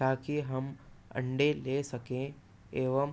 ताकि हम अंडे ले सकें एवम